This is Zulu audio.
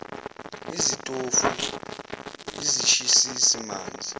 izitofu izishisisi manzi